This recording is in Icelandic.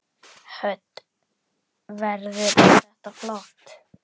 Hödd: Verður þetta flott?